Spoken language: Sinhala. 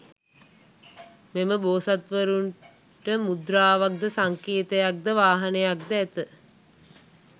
මෙම බෝසත්වරුන්ට මුද්‍රාවක් ද සංකේතයක් ද, වාහනයක් ඇත.